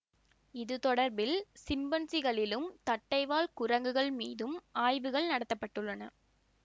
இது தொடர்பில் சிம்பன்சிகளிலும் தட்டைவால் குரங்குகள் மீதும் ஆய்வுகள் நடத்த பட்டுள்ளன